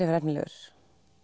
vera efnilegur